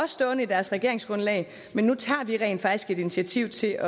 stående i deres regeringsgrundlag men nu tager vi rent faktisk et initiativ til at